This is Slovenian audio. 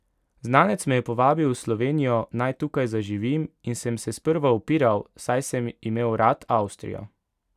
Znanec me je povabil v Slovenijo, naj tukaj zaživim, in sem se sprva upiral, saj sem imel rad Avstrijo.